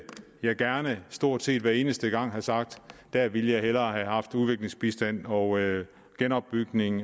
jeg gerne stort set hver eneste gang have sagt der ville jeg hellere have haft udviklingsbistand og genopbygning